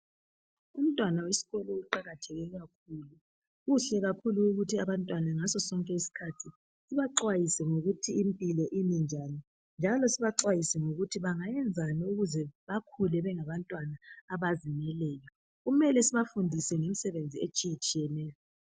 Umntwana wesikolo uqakatheke kakhulu, kuhle kakhulu ukuthi abantwana ngaso sonke iskhathi baxwayise ngokuythi impilo imi njani njalo sibaxwayise ngokuthi bangayenzani ukuze bakhule bengabantwana abalungileyo kumele sibafundise imisebenzi etshiyetshiyeneyo.